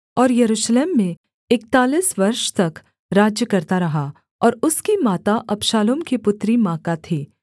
और यरूशलेम में इकतालीस वर्ष तक राज्य करता रहा और उसकी माता अबशालोम की पुत्री माका थी